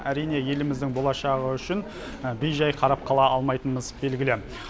әрине еліміздің болашағы үшін бейжай қарап қала алмайтынымыз белгілі